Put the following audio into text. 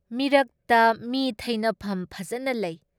ꯃꯤꯔꯛꯇ ꯃꯤ ꯊꯩꯐꯝ ꯐꯖꯕ ꯂꯩ ꯫